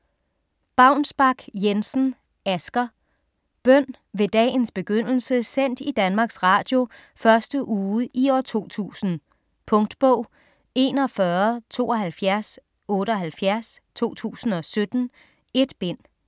Baunsbak-Jensen, Asger: Bøn: Ved dagens begyndelse sendt i Danmarks Radio første uge i år 2000 Punktbog 417278 2017. 1 bind.